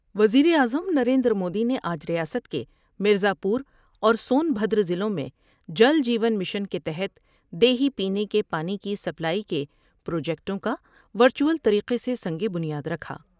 وزیراعظم نریندر مودی نے آج ریاست کے مرزا پور اور سون بھدرضلعوں میں جل جیون مشن کے تحت دیہی پینے کے پانی کی سپلائی کے پروجیکٹوں کا ور چوٹل طریقہ سے سنگ بنیا درکھا ۔